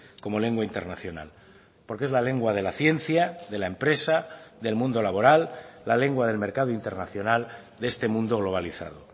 como lengua internacional porque es la lengua de la ciencia de la empresa del mundo laboral la lengua del mercado internacional de este mundo globalizado